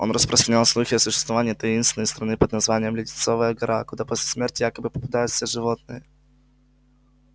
он распространял слухи о существовании таинственной страны под названием леденцовая гора куда после смерти якобы попадают все животные